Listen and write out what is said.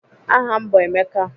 Aha m bụ Emeka.